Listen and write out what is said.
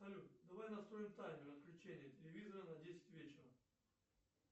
салют давай настроим таймер отключения телевизора на десять вечера